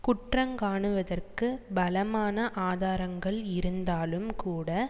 குற்றங்காணுவதற்கு பலமான ஆதாரங்கள் இருந்தாலும் கூட